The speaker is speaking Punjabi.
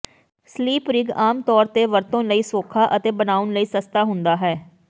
ਸਲੀਪ ਰਿਗ ਆਮ ਤੌਰ ਤੇ ਵਰਤੋਂ ਲਈ ਸੌਖਾ ਅਤੇ ਬਣਾਉਣ ਲਈ ਸਸਤਾ ਹੁੰਦਾ ਹੈ